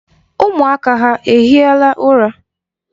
Ụmụaka ha ehiela ụra?